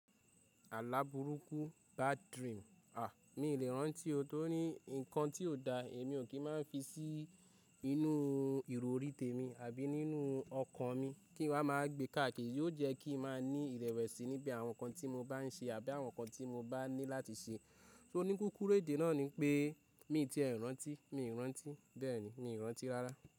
Àláburúkú bad dream. À, mi ò lè rántí ohun tó ní nǹkan tí ò dáa, èmi ò kí má fi sí inú o ìrò orí tèmi àbí nínú ọkàn mi, kí n máa gbé káàkiri, yóò jẹ́ kí n máa ní ìrẹ̀wẹ̀sì níbí àwọn nǹkan tí mo bá ń ṣe àbí àwọn nǹkan tí mo bá ní láti ṣe. So ní kúkúrú èdè náà ni pé mi ti è rántí, mi ò rántí, bẹ́ẹ̀ni mi ò rántí rárá.